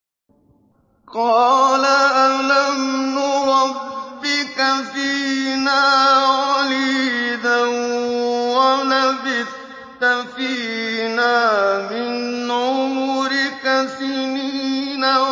قَالَ أَلَمْ نُرَبِّكَ فِينَا وَلِيدًا وَلَبِثْتَ فِينَا مِنْ عُمُرِكَ سِنِينَ